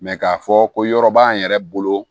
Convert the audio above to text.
k'a fɔ ko yɔrɔ b'an yɛrɛ bolo